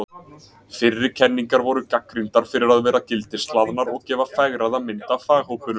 Fyrri kenningar voru gagnrýndar fyrir að vera gildishlaðnar og gefa fegraða mynd af faghópunum.